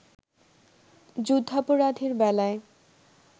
যুদ্ধাপরাধীর বেলায়